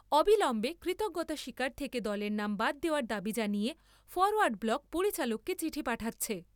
অবিলম্বে কৃতজ্ঞতা স্বীকার থেকে দলের নাম বাদ দেওয়ার দাবি জানিয়ে ফরোয়ার্ড ব্লক পরিচালককে চিঠি পাঠাচ্ছে।